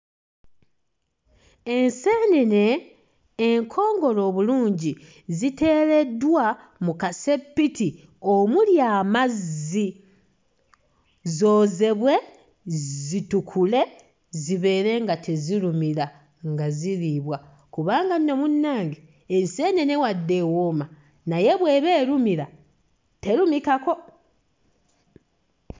Enseenene enkongole obulungi ziteereddwa mu kaseppiti omuli amazzi zoozebwe, zitukule zibeere nga tezirumira, nga ziriibwa kubanga nno munnange enseenene wadde ewooma naye bw'eba erumira terumikako.